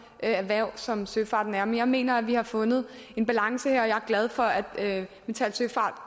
erhverv som søfarten er men jeg mener at vi har fundet en balance jeg er glad for at metal søfart